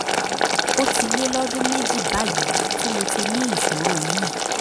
ó ti lé lọ́dún méjì báyìí tí mo ti ní ìṣòro yìí